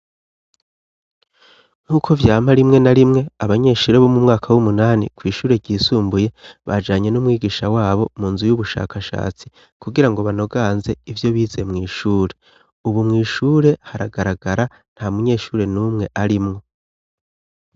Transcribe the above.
Nk'uko vyama rimwe na rimwe abanyeshure bo mu mwaka w'umunani ,kw'ishure ryisumbuye bajanye n'umwigisha wabo mu nzu y'ubushakashatsi kugira ngo banoganze ivyo bize mw'ishure .Ubu mw'ishure haragaragara nta munyeshure n'umwe arimwo.